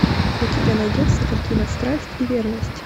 у тебя найдется картина страсть и верность